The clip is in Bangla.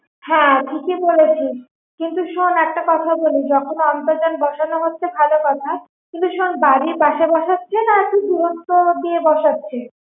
হ্যা ঠিকই বলেছিস কিন্তু শোন একটা কথা বলি যখন অন্তর্জাল বসানো হচ্ছে ভালো কথা কিন্তু শোন বাড়ির পাশে বসাচ্ছে নাকি দূরত্ব দিয়ে বসাচ্ছে